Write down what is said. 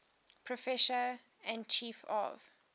professor and chief of